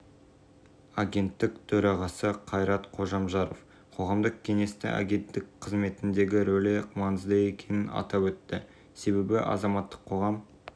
мемлекеттік істер және сыбайлас жемқорлыққа қарсы іс-қимыл агенттігі жанынан қоғамдық кеңес құрылды деп хабарлады мекеменің баспасөз